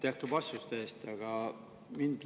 Aitäh ka vastuste eest!